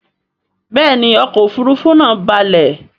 Béèni ọkọ òfurufú naa ń balè.